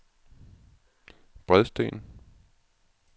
Bredsten